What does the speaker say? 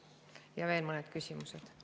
Ja on veel mõned küsimused.